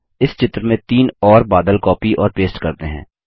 अब इस चित्र में तीन और बादल कॉपी और पेस्ट करते हैं